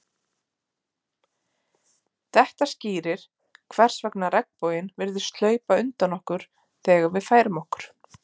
Þetta skýrir hvers vegna regnboginn virðist hlaupa undan þegar við færum okkur.